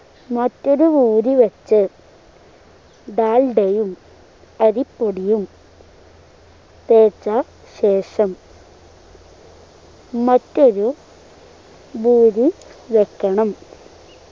മറ്റൊരു പൂരി വച്ച് ഡാൾഡയും അരിപ്പൊടിയും തേച്ച ശേഷം മറ്റൊരു പൂരി വെക്കണം